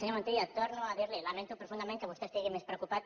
senyor montilla torno a dirli lamento profundament que vostè estigui més preocupat